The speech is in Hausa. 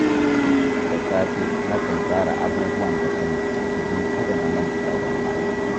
Da safe, nakan tsara abubuwan da zan yi domin kada in manta da wani aiki.